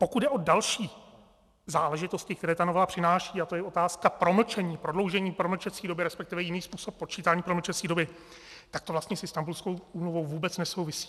Pokud jde o další záležitosti, které ta novela přináší, a to je otázka promlčení, prodloužení promlčecí doby, respektive jiný způsob počítání promlčecí doby, tak to vlastně s Istanbulskou úmluvou vůbec nesouvisí.